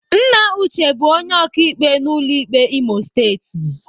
Nna Uche bụ onye ọkaikpe n'ụlọ ikpe Imo Steeti.